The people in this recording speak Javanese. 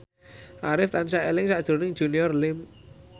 Arif tansah eling sakjroning Junior Liem